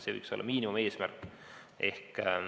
See võiks olla miinimumeesmärk.